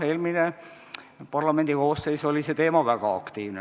Jah, eelmine parlamendikoosseis oli sel teemal väga aktiivne.